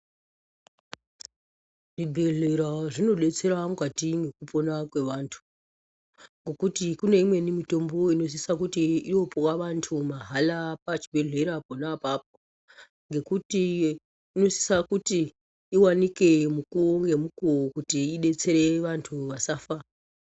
Zvibhedhlera zvinodetsera mukati mwekupona kwevantu ngokuti kune imweni mitombo inosisa kuti yopuwa vantu mahala pachibhedhlera pona apapo ngokuti inosisa kuti iwanike mukuwo ngemukuwo kuti idetsere vantu vasafa.